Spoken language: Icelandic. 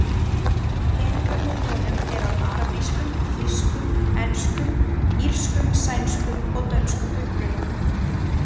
Peningarnir í honum eru af arabískum, þýskum, enskum, írskum, sænskum og dönskum uppruna.